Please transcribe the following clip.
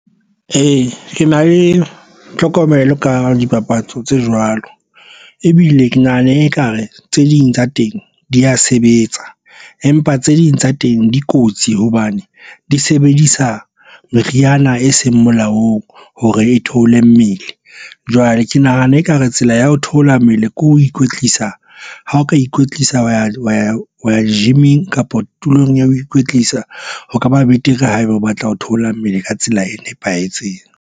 Ee, ke na le tlhokomelo ka dipapatso tse jwalo ebile ke nahane ekare tse ding tsa teng di ya sebetsa, empa tse ding tsa teng di kotsi hobane di sebedisa meriana e seng molaong hore e theole mmele. Jwale ke nahana ekare tsela ya ho theola mmele ke ho ikwetlisa ha o ka ikwetlisa wa gym-eng kapa tulong ya ho ikwetlisa ho kaba betere haeba o batla ho theola mmele ka tsela e nepahetseng.